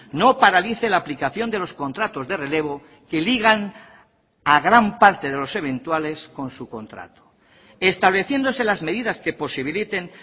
no paralice la aplicación de los contratos de relevo que ligan a gran parte de los eventuales con su contrato estableciéndose las medidas que posibiliten